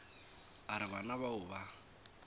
a re bana bao ba